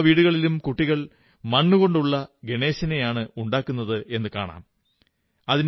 എല്ലാ വീടുകളിലും കുട്ടികൾ മണ്ണുകൊണ്ടുള്ള ഗണേശനെയാണുണ്ടാക്കുന്നതെന്നു നിങ്ങൾക്ക് യൂട്യൂബിൽ നോക്കിയാൽ കാണാം